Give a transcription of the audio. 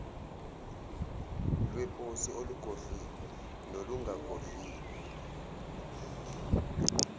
lweposi olugodliwe nolungagodliwe